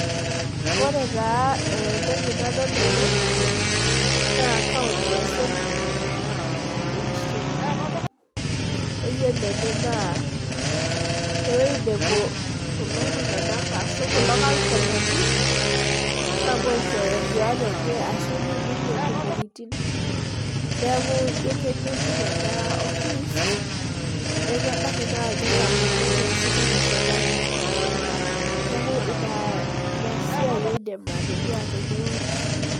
Ore taa entoki nadol tene na county assembly e kisumu ayilo ene na ewoi napuo kulo kansolani aishooyo nduat enyebashu ibung intomorotin neaku ino kengejuk neaku ebaki ake na ketaboloki ashu keteshetaki neaku inasia aidim atadua tenewueji